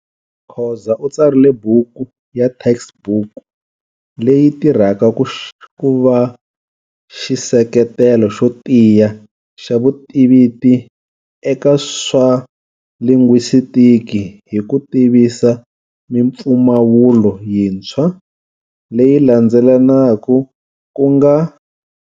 Khoza u tsarile buku ya textbook leyi yi tirhaka ku va xiseketelo xo tiya xa vutiviti eka swa lingwistiki hi ku tivisa mimpfumawulo yintshwa leyi landzelelanaku ku nga.